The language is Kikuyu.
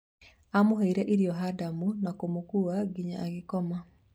Amũheire irio Hadamu na kũmũkua nginya agakoma.